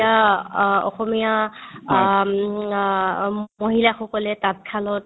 এতিয়া অ অসমীয়া আম আ মহিলাসকলে তাঁতশালত